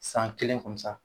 San kelen